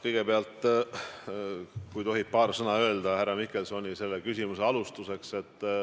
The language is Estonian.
Kõigepealt, kui tohib, härra Mihkelsoni küsimusele vastates paar sõna sissejuhatuseks.